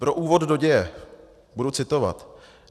Pro úvod do děje budu citovat.